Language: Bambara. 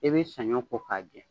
I bɛ saɲɔ kɔ k'a jɛ.